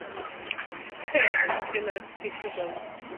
хейвен тринадцатый сезон